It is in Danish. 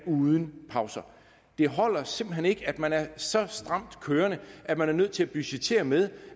uden pauser det holder simpelt hen ikke at man er så stramt kørende at man er nødt til at budgettere med